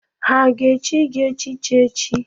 Ha ga-echi gị echichi echi?